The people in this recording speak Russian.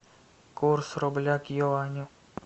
курс рубля к юаню